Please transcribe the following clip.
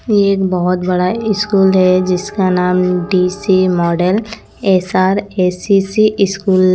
ये एक बहोत बड़ा स्कूल है जिसका नाम D C model S R S C C school --